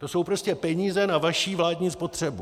To jsou prostě peníze na vaši vládní spotřebu.